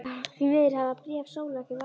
Því miður hafa bréf Sólu ekki varðveist.